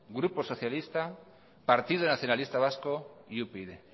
grupo socialista partido nacionalista vasco y upyd